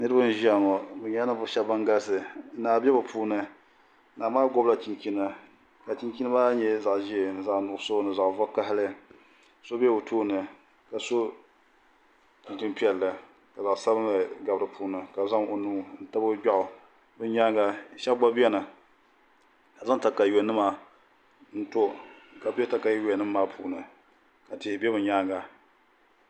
niriba n ʒia ŋɔ bɛ nyɛla ninvuɣ' shɛba ban galisi naa be bɛ puuni naa maa gɔbila chinchini ka chinchi maa nyɛ zaɣ' ʒee ni zaɣ' nuɣiso ni zaɣ' vakahili so be o tooni ka so chinchin' piɛlli ka zaɣ' sabinli gabi di puuni ka zaŋ o nuu n tabi o gbeɣu di nyaanga shɛba gba beni ka zaŋ katayuyanima n to ka be katayuayanima maa puuni ka tihi be bɛ nyaanga